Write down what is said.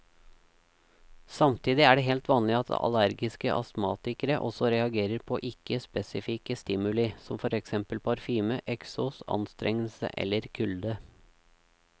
Samtidig er det helt vanlig at allergiske astmatikere også reagerer på ikke spesifikke stimuli som for eksempel parfyme, eksos, anstrengelse eller kulde.